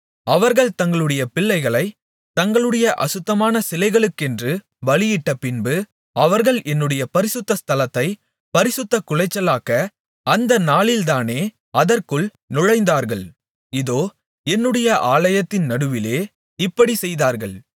அவர்கள் தங்களுடைய பிள்ளைகளைத் தங்களுடைய அசுத்தமான சிலைகளுக்கென்று பலியிட்டபின்பு அவர்கள் என்னுடைய பரிசுத்த ஸ்தலத்தைப் பரிசுத்தக்குலைச்சலாக்க அந்த நாளில்தானே அதற்குள் நுழைந்தார்கள் இதோ என்னுடைய ஆலயத்தின் நடுவிலே இப்படிச் செய்தார்கள்